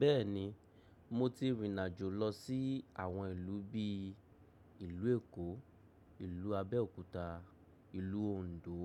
Bẹ́ẹ̀ni, mo ti rìn àjò lọ sí àwọn ìlú bíi ìlú Èkó, ìlú Abẹ́òkúta, ìlú Òǹdó,